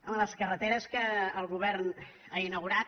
home les carreteres que el govern ha inaugurat